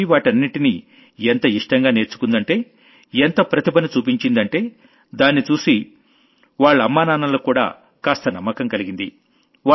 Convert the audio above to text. అసలు అన్వీ వాటన్నింటినీ ఎంత ఇష్టంగా నేర్చుకుందంటే ఎంత ప్రతిభను చూపించిందంటే దాన్ని చూసి దాన్ని చూసి వాళ్లమ్మానాన్నలకు కూడా కాస్త నమ్మకం కలిగింది